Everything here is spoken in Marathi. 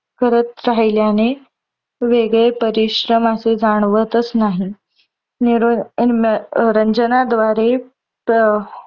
करत राहिल्याने. वेगळे परिश्रम असे जाणवतच नाही. मनोरंजन द्वारे